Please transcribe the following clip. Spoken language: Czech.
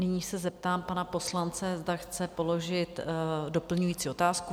Nyní se zeptám pana poslance, zda chce položit doplňující otázku?